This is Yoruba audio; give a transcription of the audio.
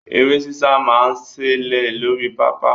Eré sísá máa ń ṣẹlẹ̀ lórí pápá.